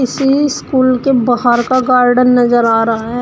सी school के बाहर का गार्डन नजर आ रहा है।